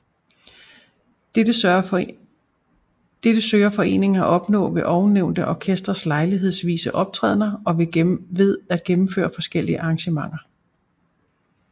Dette søger foreningen at opnå ved ovennævnte orkesters lejlighedsvise optrædener og ved gennemføre forskellige arrangementer